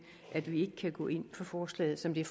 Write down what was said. at vi ikke kan gå ind for forslaget som det